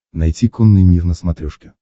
найти конный мир на смотрешке